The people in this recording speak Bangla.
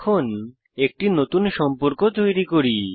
এখন নতুন সম্পর্ক তৈরি করি